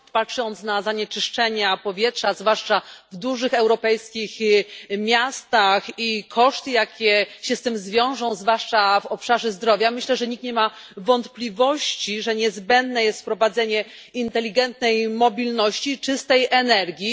Panie Przewodniczący! Patrząc na zanieczyszczenie powietrza, zwłaszcza w dużych europejskich miastach, i koszty, jakie się z tym wiążą, zwłaszcza w obszarze zdrowia, myślę, że nikt nie ma wątpliwości, że niezbędne jest wprowadzenie inteligentnej mobilności czystej energii.